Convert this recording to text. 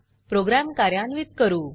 programme कार्यान्वीत करू